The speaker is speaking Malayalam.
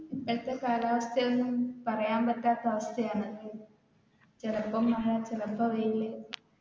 ഇപ്പഴത്തെ കാലാവസ്ഥയൊന്നും പറയാൻ പറ്റാത്ത അവസ്ഥയാണ് ചിലപ്പോ മഴ ചിലപ്പോ വെയിൽ